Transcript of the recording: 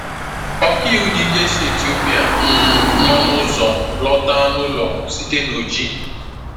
Ọkàiwu dị ike si Etiopia um nọ n’ụzọ lọta n’ụlọ site na Oji.